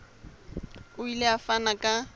o ile a fana ka